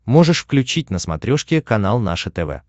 можешь включить на смотрешке канал наше тв